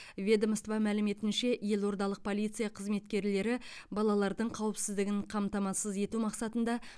ведомство мәліметінше елордалық полиция қызметкерлері балалардың қауіпсіздігін қамтамасыз ету мақсатында